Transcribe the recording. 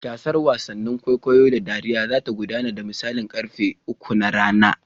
Gasar wasannin wasan kwaikwayo da dariya za ta gudana da misalin karfe uku na rana.